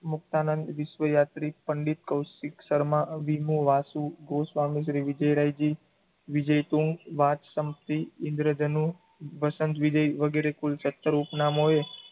મુક્તાનંદ વિશ્વયાત્રી પંડિત, કૌશિક શર્મા, વિમો વાસુ, ગોસ્વામિ શ્રી વિજયરાય જી, વિજયતુંગ વાત સમ પી ઇંદ્ર્જનું, વસંત વિજય વગેરે કુલ factor ઉપનામોએ